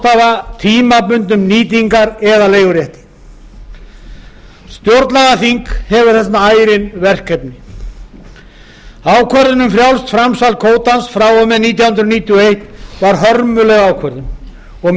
að ráðstafa tímabundnum nýtingar eða leigurétti stjórnlagaþing hefur þarna ærin verkefni ákvörðun um frjálst framsal kvótans frá og með nítján hundruð níutíu og eitt var hörmuleg ákvörðun og